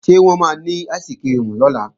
Ṣé wọ́n máa ní áìsikirimù lọ́la?